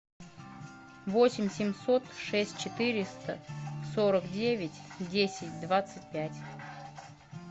восемь семьсот шесть четыреста сорок девять десять двадцать пять